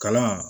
Kalan